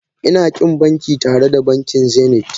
Ina ƙin banki tare da bankin Zenith